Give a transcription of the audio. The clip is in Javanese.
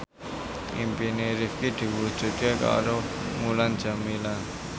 impine Rifqi diwujudke karo Mulan Jameela